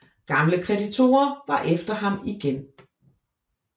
Gamle kreditorer var efter ham igen